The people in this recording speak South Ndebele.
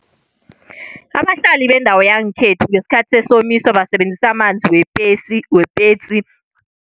Abahlali bendawo yangekhethu ngesikhathi sesomiso basebenzisa amanzi wepetsi, wepetsi.